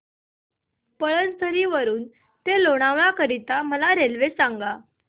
पळसधरी वरून ते लोणावळा करीता मला रेल्वे सांगा